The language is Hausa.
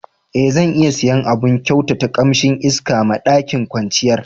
E, zan iya siya abun kyautata kamsin iska ma ɗakin kwanciyar